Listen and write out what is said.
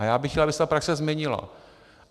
A já bych rád, aby se ta praxe změnila.